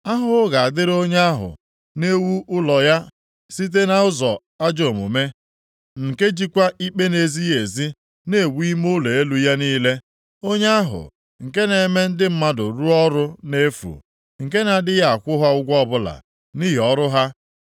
“Ahụhụ na-adịrị onye ahụ na-ewu ụlọeze ya site nʼụzọ ajọ omume, nke jikwa ikpe na-ezighị ezi na-ewu ime ụlọ elu ya niile, onye ahụ nke na-eme ndị mmadụ rụọ ọrụ nʼefu, nke na-adịghị akwụ ha ụgwọ ọbụla nʼihi ọrụ ha.